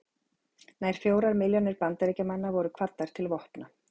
nær fjórar milljónir bandaríkjamanna voru kvaddar til vopna